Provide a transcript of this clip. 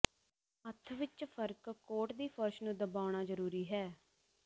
ਹੱਥ ਵਿਚ ਫਰਕ ਕੋਟ ਦੀ ਫਰਸ਼ ਨੂੰ ਦਬਾਉਣਾ ਜ਼ਰੂਰੀ ਹੈ